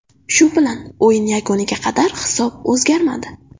Shu bilan o‘yin yakuniga qadar hisob o‘zgarmadi.